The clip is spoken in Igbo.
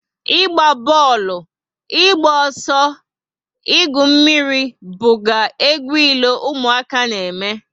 Ịgba booolu, ịgba ọsọ, igwu mmírí buga egwu ilo ụmụaka na eme